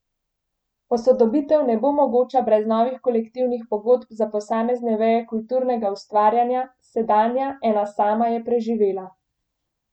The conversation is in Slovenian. Posodobitev ne bo mogoča brez novih kolektivnih pogodb za posamezne veje kulturnega ustvarjanja, sedanja, ena sama, je preživela.